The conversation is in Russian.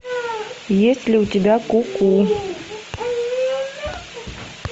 есть ли у тебя ку ку